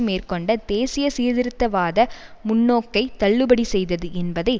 மேற்கொண்ட தேசிய சீர்திருத்தவாத முன்னோக்கை தள்ளுபடி செய்தது என்பதை